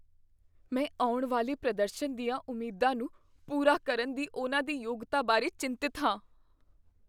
ਮੈਂ ਆਉਣ ਵਾਲੇ ਪ੍ਰਦਰਸ਼ਨ ਦੀਆਂ ਉਮੀਦਾਂ ਨੂੰ ਪੂਰਾ ਕਰਨ ਦੀ ਉਨ੍ਹਾਂ ਦੀ ਯੋਗਤਾ ਬਾਰੇ ਚਿੰਤਤ ਹਾਂ।